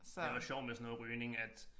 Det var sjovt med sådan noget rygning at